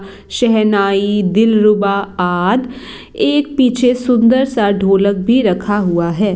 शेहनाई दिलरुबा आद एक पीछे सुंदर सा ढोलक भी रखा हुआ हैं।